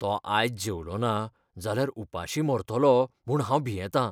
तो आयज जेवलोना जाल्यार उपाशीं मरतलो म्हूण हांव भियेतां.